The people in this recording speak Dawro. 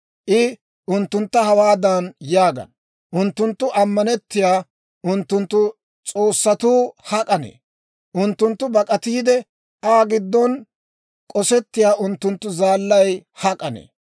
I unttuntta hawaadan yaagana; Unttunttu ammanettiyaa unttunttu s'oossatuu hak'anne? Unttunttu bak'atiide Aa giddon k'osettiyaa unttunttu zaallay hak'anne?